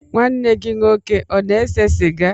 Nwanne gị nwoke ọ na-ese sịga?